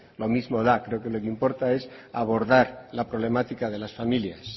lo mismo da creo que lo que importa es abordar la problemática de las familias